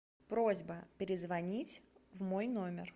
просьба перезвонить в мой номер